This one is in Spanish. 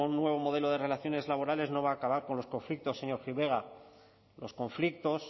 un nuevo modelo de relaciones laborales no va a acabar con los conflictos señor gil vegas los conflictos